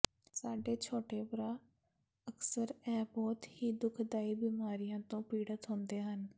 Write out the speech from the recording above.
ਸਾਡੇ ਛੋਟੇ ਭਰਾ ਅਕਸਰ ਇਹ ਬਹੁਤ ਹੀ ਦੁਖਦਾਈ ਬਿਮਾਰੀਆਂ ਤੋਂ ਪੀੜਤ ਹੁੰਦੇ ਹਨ